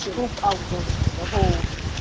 खूप अवघड गेल हो